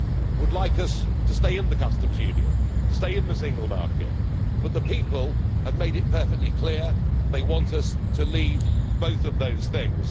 would like us to stay in the customs union and to stay in the single market, but the people have made it perfectly clear they want us to leave both of those things.